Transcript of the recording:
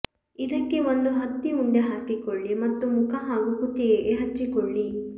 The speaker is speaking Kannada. ಇದಕ್ಕೆ ಒಂದು ಹತ್ತಿ ಉಂಡೆ ಹಾಕಿಕೊಳ್ಳಿ ಮತ್ತು ಮುಖ ಹಾಗೂ ಕುತ್ತಿಗೆಗೆ ಹಚ್ಚಿಕೊಳ್ಳಿ